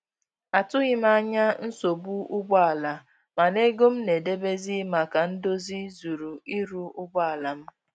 Atụghị m anya nsogbu ụgbọ ala, mana ego m na-edebezi maka ndozi zuru ịrụ ụgbọ ala m